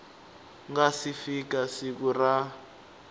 nga si fika siku ra